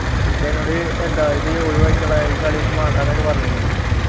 എന്നിട്ടെന്നോട് എന്താ ഇത് ഒഴിവാക്കിക്കള ഈ കളിയൊന്നും വേണ്ടാന്നൊക്കെ പറഞ്ഞു എന്നോട്